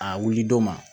A wuli don ma